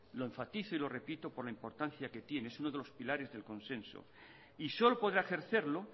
lo enfatizo y lo repito por la importancia que tiene es uno de los pilares del consenso y solo podrá ejercerlo